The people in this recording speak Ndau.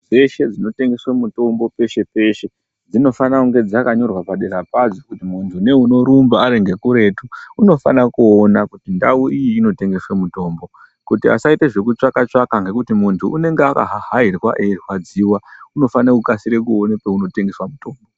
Dzeshe dzinotengesa mitombo peshe peshe dzinofana kunge dzakanyorwa padera padzo kuti muntu neunorumba ari ngekuretu unofana kuona kuti ndau iyi inotengeswa mitombo kuti asaita zvekutsvaka ngekuti muntu unenge akahahairwa eirwadziwa unofanire kukasire kuona paunotengeswa mutombo.